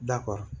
Da kɔrɔ